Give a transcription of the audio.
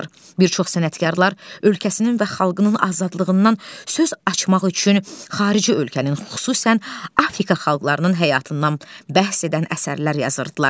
Bir çox sənətkarlar ölkəsinin və xalqının azadlığından söz açmaq üçün xarici ölkənin, xüsusən Afrika xalqlarının həyatından bəhs edən əsərlər yazırdılar.